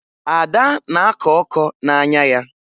Ada na-akọ ọkọ n'anya ya